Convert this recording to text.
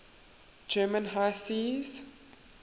german high seas